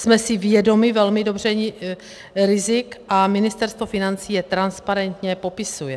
Jsme si vědomi velmi dobře rizik a Ministerstvo financí je transparentně popisuje.